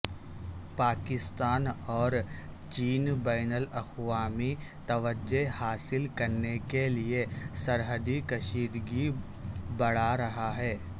پاکستان اور چین بین الاقوامی توجہ حاصل کرنے کیلئے سرحدی کشیدگی بڑارہا ہے